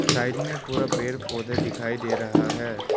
Side में पूरा पेड़ पौधे दिखाई दे रहा है।